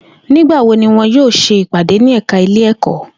Nigbawo ni wọn yoo ṣe ipade ni ẹka ile-ẹkọ?